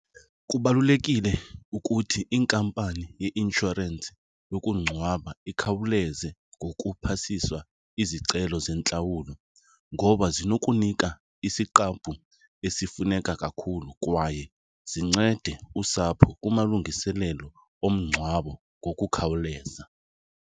Kubalulekile ukuthi inkampani yeinshorensi yokungcwaba ikhawuleze ngokuphasiswa izicelo zentlawulo ngoba zinokunika isiqabu esifuneka kakhulu kwaye zincede usapho kumalungiselelo omngcwabo ngokukhawuleza.